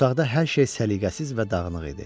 Otaqda hər şey səliqəsiz və dağınıq idi.